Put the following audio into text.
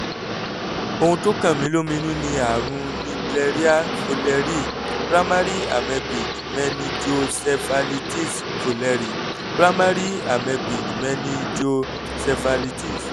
ohun tó kan mí lóminú ni àrùn naegleria fowleri/primary amebic meningoencephalitis fowleri/primary amebic meningoencephalitis